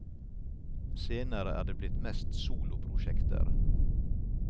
Senere er det blitt mest soloprosjekter.